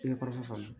I ye kɔrɔfɔ faamu